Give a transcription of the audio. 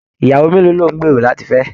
Ìyàwó mélòó ló n gbéró láti fẹ?